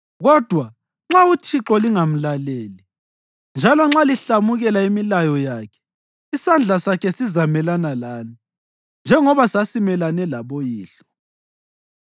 Kodwa nxa uThixo lingamlaleli, njalo nxa lihlamukela imilayo yakhe, isandla sakhe sizamelana lani, njengoba sasimelane laboyihlo.